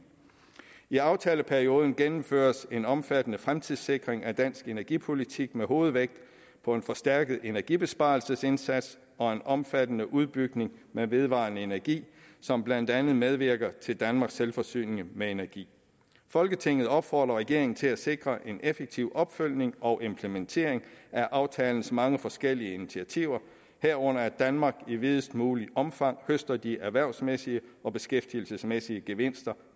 i aftaleperioden gennemføres en omfattende fremtidssikring af dansk energipolitik med hovedvægt på en forstærket energibesparelsesindsats og en omfattende udbygning med vedvarende energi som blandt andet medvirker til danmarks selvforsyning med energi folketinget opfordrer regeringen til at sikre en effektiv opfølgning og implementering af aftalens mange forskellige initiativer herunder at danmark i videst muligt omfang høster de erhvervsmæssige og beskæftigelsesmæssige gevinster